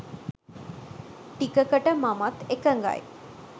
ටිකකට මමත් එකගයි